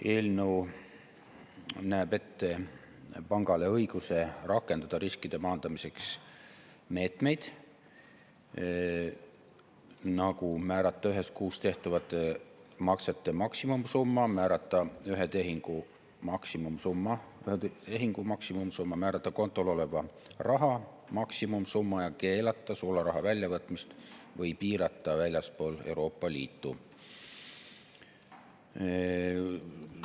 Eelnõu näeb pangale ette õiguse rakendada riskide maandamiseks meetmeid: määrata ühes kuus tehtavate maksete maksimumsumma, määrata ühe tehingu maksimumsumma, määrata kontol oleva raha maksimumsumma ja keelata sularaha väljavõtmist või piirata seda väljaspool Euroopa Liitu.